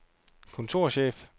kontorchef